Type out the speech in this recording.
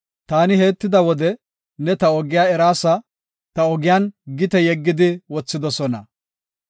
Taani heettida wode ne ta ogiya eraasa; ta ogiyan gite yeggidi wothidosona.